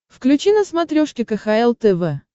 включи на смотрешке кхл тв